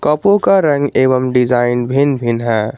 कपो का रंग एवं डिजाइन भिन्न भिन्न है।